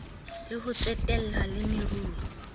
le ho tsetela le meruo